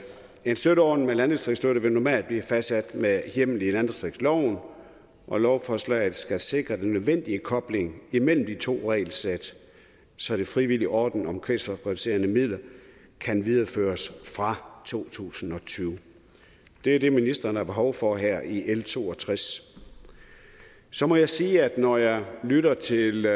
en støtteordning med landdistriktsstøtte vil normalt blive fastsat med hjemmel i landdistriktsloven og lovforslaget skal sikre den nødvendige kobling imellem de to regelsæt så den frivillige ordning om kvælstofreducerende midler kan videreføres fra to tusind og tyve det er det ministeren har behov for her i l to og tres så må jeg sige at når jeg lytter til